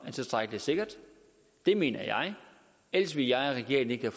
er tilstrækkelig sikkert det mener jeg ellers ville jeg og regeringen ikke